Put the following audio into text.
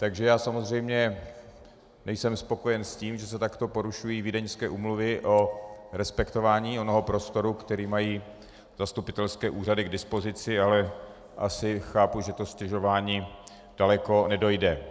Takže já samozřejmě nejsem spokojen s tím, že se takto porušují vídeňské úmluvy o respektování onoho prostoru, který mají zastupitelské úřady k dispozici, ale asi chápu, že to stěžování daleko nedojde.